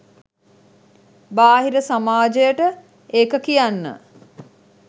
බාහිර සමාජයට ඒක කියන්න